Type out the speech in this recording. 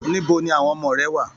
Níbo ní àwọn ọmọ rẹ wà?